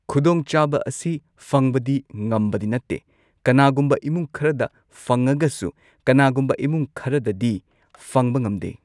ꯈꯨꯗꯣꯡꯆꯥꯕ ꯑꯁꯤ ꯐꯪꯕꯗꯤ ꯉꯝꯕꯗꯤ ꯅꯠꯇꯦ ꯀꯅꯥꯒꯨꯝꯕ ꯏꯃꯨꯡ ꯈꯔꯗ ꯐꯪꯉꯒꯁꯨ ꯀꯅꯥꯒꯨꯝꯕ ꯏꯃꯨꯡ ꯈꯔꯗꯗꯤ ꯐꯪꯕ ꯉꯝꯗꯦ